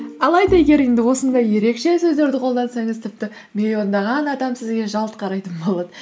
алайда егер енді осындай ерекше сөздерді қолдансаңыз тіпті миллиондаған адам сізге жалт қарайтын болады